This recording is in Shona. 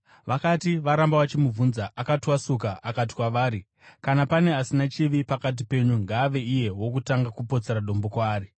Vakati varamba vachimubvunza, akatwasuka akati kwavari, “Kana pane asina chivi pakati penyu, ngaave iye wokutanga kupotsera dombo kwaari.”